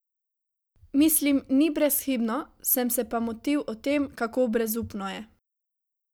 Mislim, ni brezhibno, sem se pa motil o tem, kako brezupno je.